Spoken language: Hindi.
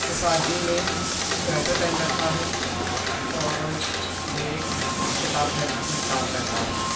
इस आदमी ने स्वेटर पहन रखा है और ये एक किताब घर में काम करता है।